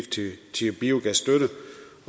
tyve